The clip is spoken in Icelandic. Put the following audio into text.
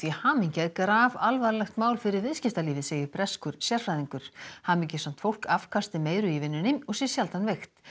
hamingja er grafalvarlegt mál fyrir viðskiptalífið segir breskur sérfræðingur hamingjusamt fólk afkasti meiru í vinnunni og sé sjaldan veikt